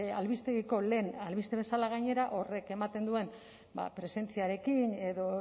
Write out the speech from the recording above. albistegiko lehen albiste bezala gainera horrek ematen duen presentziarekin edo